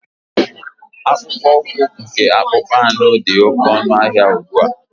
Akpụkpọ ụkwụ nke akpụkpọ anụ dị oke ọnụ ahịa ugbua.